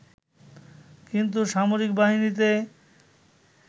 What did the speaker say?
কিন্তু সামরিক বাহিনীতে